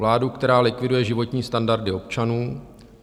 Vládu, která likviduje životní standardy občanů.